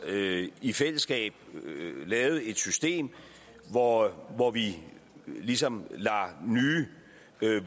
i fællesskab lavet et system hvor hvor vi ligesom lader nye